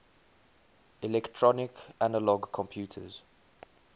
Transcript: electronic analog computers